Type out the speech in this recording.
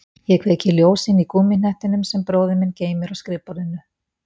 Ég kveiki ljós inní gúmmíhnettinum sem bróðir minn geymir á skrifborðinu.